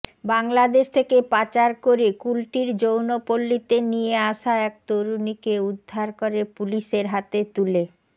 বাংলাদেশ থেকে পাচার করে কুলটির যৌনপল্লিতে নিয়ে আসা এক তরুণীকে উদ্ধার করে পুলিশের হাতে তুলে